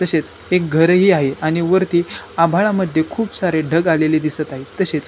तसेच एक घरही आहे आणि वरती आभाळा मधी खुप सारे ढग आलेले दिसत आहेत तसेच --